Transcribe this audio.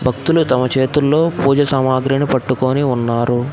భక్తులు తమ చేతుల్లో పూజ సామాగ్రిని పట్టుకొని ఉన్నారు.